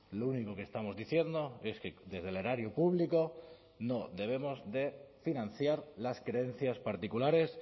lo único que estamos diciendo es que desde el erario público no debemos de financiar las creencias particulares